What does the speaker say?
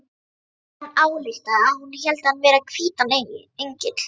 Hann ályktaði að hún héldi hann vera hvítan engil.